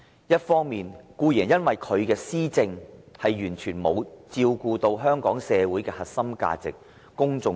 一方面，固然是因為他的施政完全沒有照顧香港社會的核心價值，公眾利益。